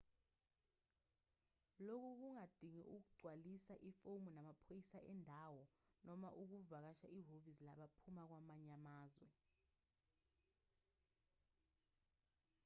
lokhu kungadinga ukugcwalisa ifomu namaphoyisa endawo noma ukuvakashela ihhovisi labaphuma kwamanye amazwe